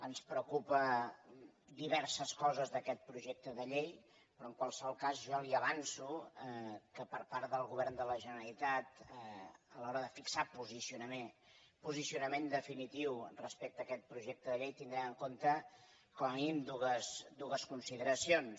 ens preocupen diverses coses d’aquest projecte de llei però en qualsevol cas jo li avanço que per part del govern de la generalitat a l’hora de fixar posicionament definitiu respecte a aquest projecte de llei tindrà en compte com a mínim dues consideracions